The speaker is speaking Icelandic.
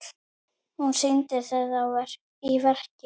Hún sýndi það í verki.